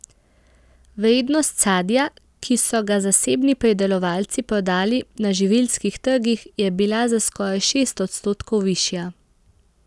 Vrednost sadja, ki so ga zasebni pridelovalci prodali na živilskih trgih, je bila za skoraj šest odstotkov višja.